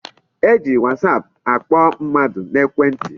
E ji whatsaap akpọ mmadụ n'ekwe ntị.